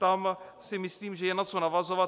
Tam si myslím, že je na co navazovat.